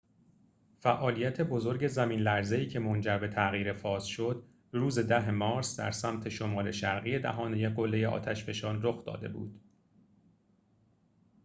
فعالیت بزرگ زمین‌لرزه‌ای که منجر به تغییر فاز شد روز ۱۰ مارس در سمت شمال شرقی دهانه قلّه آتش‌فشان رخ داده بود